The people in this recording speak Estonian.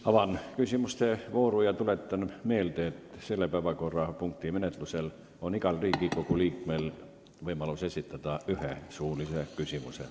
Avan küsimuste vooru ja tuletan meelde, et selle päevakorrapunkti menetlemisel on igal Riigikogu liikmel võimalus esitada üks suuline küsimus.